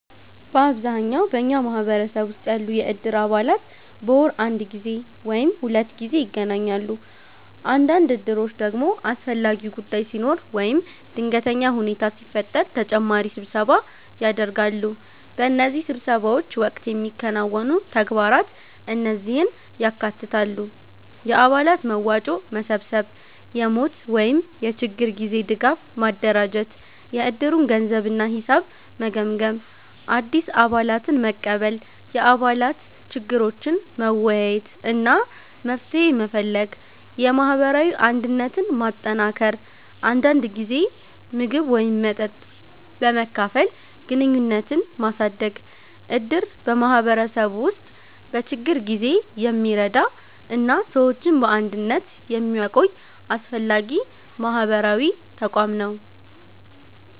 በአብዛኛው በኛ ማህበረሰብ ውስጥ ያሉ የእድር አባላት በወር አንድ ጊዜ ወይም ሁለት ጊዜ ይገናኛሉ። አንዳንድ እድሮች ደግሞ አስፈላጊ ጉዳይ ሲኖር ወይም ድንገተኛ ሁኔታ ሲፈጠር ተጨማሪ ስብሰባ ያደርጋሉ። በእነዚህ ስብሰባዎች ወቅት የሚከናወኑ ተግባራት እነዚህን ያካትታሉ፦ የአባላት መዋጮ መሰብሰብ የሞት ወይም የችግር ጊዜ ድጋፍ ማደራጀት የእድሩን ገንዘብ እና ሂሳብ መገምገም አዲስ አባላትን መቀበል የአባላት ችግሮችን መወያየት እና መፍትሄ መፈለግ የማህበራዊ አንድነትን ማጠናከር አንዳንድ ጊዜ ምግብ ወይም መጠጥ በመካፈል ግንኙነትን ማሳደግ እድር በማህበረሰቡ ውስጥ በችግር ጊዜ የሚረዳ እና ሰዎችን በአንድነት የሚያቆይ አስፈላጊ ማህበራዊ ተቋም ነው።